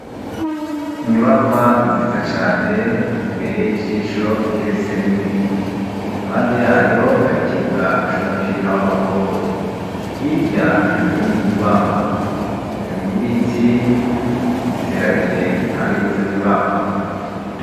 Inyubakwa nziza cane ibereye ijisho igeretse rimwe iruhande yayo hari ikibuga c'umupira w'amaboko, hirya hari iyindi nyubakwa, hari n'ibiti biteragiye impande y'izo nyubakwa.